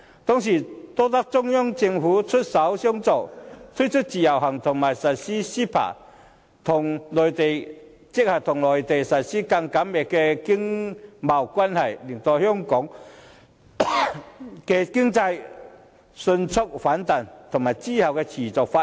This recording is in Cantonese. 當時多得中央政府出手相助，推出自由行和實施 CEPA， 與內地建立更緊密的經貿關係，才令香港的經濟迅速反彈，之後亦得以持續發展。